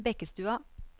Bekkestua